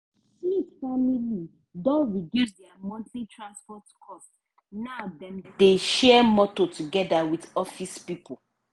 smith family don reduce dia monthly transport cost now dem dey share motor togeda with office pipo.